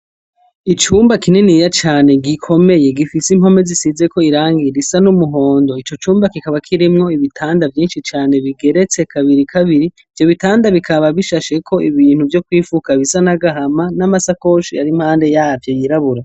Icumba kininiya cane gikomeye gifise impome zisizeko irangi risa n'umuhondo, ico cumba kikaba kirimwo ibitanda vyinshi cane bigeretse kabiri kabiri, ivyo bitanda bikaba bishasheko ibintu vyo kwifuka bisa n'agahama, n'amasakoshi ari impande yavyo yirabura.